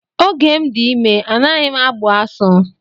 Oge m dị ime anaghị agbu asụ.